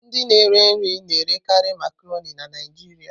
Ndị na-ere nri na-erekarị Makaronii na Naịjirịa.